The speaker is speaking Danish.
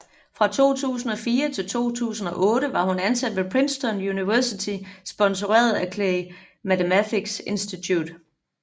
Fra 2004 til 2008 var hun ansat ved Princeton University sponseret af Clay Mathematics Institute